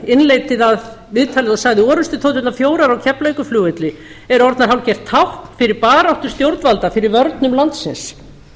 innleiddi viðtalið og sagði orrustuþoturnar fjórar á keflavíkurflugvelli eru orðnar hálfgert tákn fyrir baráttu stjórnvalda fyrir vörnum landsins